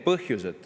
Ei ole.